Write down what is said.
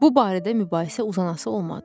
Bu barədə mübahisə uzanası olmadı.